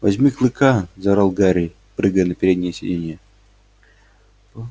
возьми клыка заорал гарри прыгая на переднее сиденье